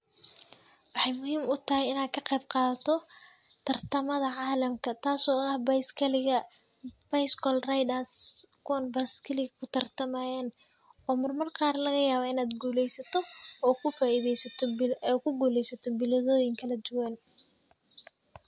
Waxay muhiim u tahay inaan ka qeyb qaadato tartamada caalamka, taas oo aha baiskaliga. Bicycle riders, kuwan baiskaligi ku tartamayeen oo marmar qaar laga yaaba inaad guuleysato oo ku faa-iideysato bil, ay ku guuleysato biladooyin kala duwan.